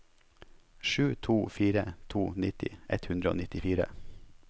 sju to fire to nitti ett hundre og nittifire